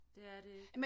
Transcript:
Det er det ikke